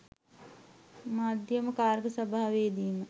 මධ්‍යම කාරක සභාවේදීම